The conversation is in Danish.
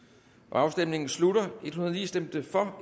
afstemningen slutter for stemte